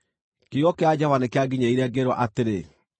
Kiugo kĩa Jehova nĩkĩanginyĩrĩire ngĩĩrwo atĩrĩ: